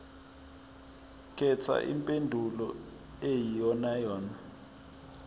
khetha impendulo eyiyonayona